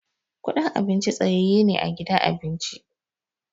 Kudin abinci tsayaye ne a gidan abinci.